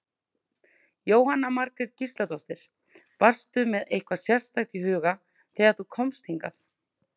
Jóhanna Margrét Gísladóttir: Varstu með eitthvað sérstakt í huga þegar þú komst hingað?